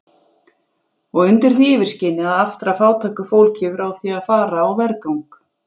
Og undir því yfirskini að aftra fátæku fólki frá því að fara á vergang!